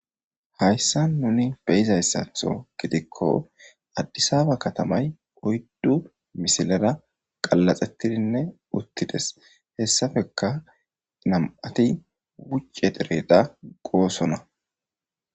hayssa nuni beyizayssatho gidikko addisaba katamay oyddu misilera qallaxettidinne uttides hessafeka nam7ati wucce dereda goosona